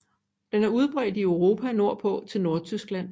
Den er udbredt i Europa nordpå til Nordtyskland